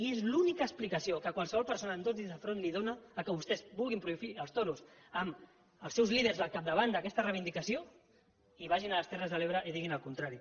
i és l’única explicació que qualsevol persona amb dos dits de front dóna al fet que vostès vulguin prohibir els toros amb els seus líders al capdavant d’aquesta reivindicació i vagin a les terres de l’ebre i diguin el contrari